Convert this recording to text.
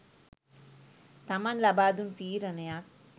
තමන් ලබාදුන් තීරණයක්